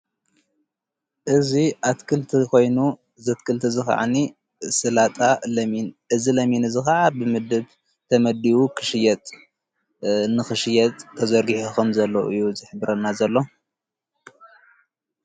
እዙይ ኣትክልቲ ኾይኑ ዘትክልቲ እዝኸዓኒ ስላጣ ለሚን እዝ ለሚንእዝ ኸዓ ብምድብ ተመዲዩ ክሽየጥ ንኽሽየት ተዘርጊሕኹም ዘለዉ እዩ። ዘኅብረና ዘሎ።